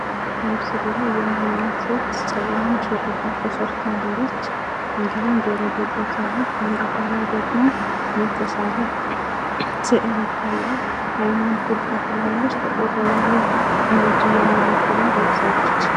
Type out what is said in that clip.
በምስሉ ላይ የምናያት ሴት፤ ጸጉሯን ሹርባ ተሰርታለች፣ ጆሮ ጌጥ ለብሳለች፣ ከአንገቷ ላይ ደግሞ የተሳለ ስእል ይታያል፣ አይኗን ኩል ተኩላለች፣ እንዲሁም ጥቁር የሞጅ ሹራብ ለብሳለች።